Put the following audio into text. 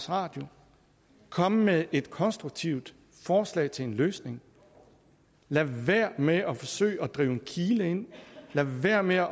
radio kom med et konstruktivt forslag til en løsning lad være med at forsøge at drive en kile ind lad være med at